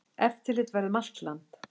Eftirlit verði um land allt.